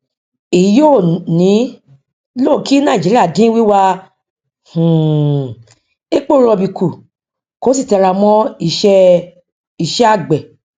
èyí yóò ní lọ kí nàìjíríà dín wíwà um epo rọbì kú kó sì tẹra mọ ìṣe ìṣe àgbẹ